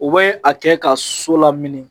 U bɛ a kɛ ka so lamini